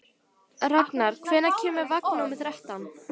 Raknar, hvenær kemur vagn númer þrettán?